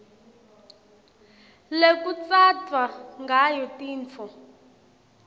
lekutsatfwa ngayo tintfo